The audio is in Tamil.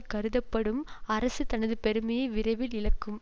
கருதப்படும் அரசு தனது பெருமையை விரைவில் இழக்கும்